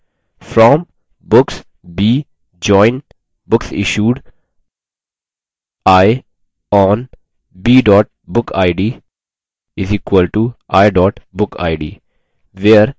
from books b join booksissued i on b bookid = i bookid